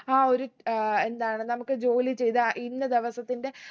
ആ ഒരു ഏർ എന്താണ് നമക്ക് ജോലി ചെയ്ത ഇന്ന ദിവസത്തിന്റെ